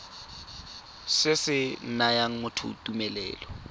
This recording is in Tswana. se se nayang motho tumelelo